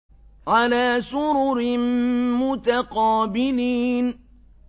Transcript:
عَلَىٰ سُرُرٍ مُّتَقَابِلِينَ